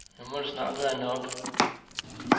Nu må det snart være nok.